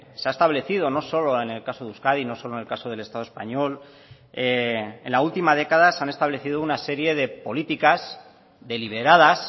se ha establecido no solo en el caso de euskadi no solo en el caso del estado español en la última década se han establecido una serie de políticas deliberadas